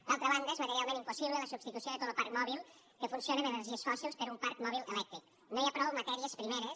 d’altra banda és materialment impossible la substitució de tot lo parc mòbil que funciona amb energies fòssils per un parc mòbil elèctric no hi ha prou matèries primeres